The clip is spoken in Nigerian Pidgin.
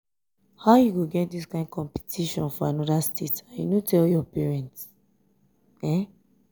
how you go get dis kyn competition for another state and you no tell your parents?